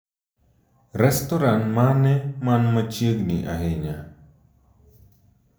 Restoran mane man machiegni ahinya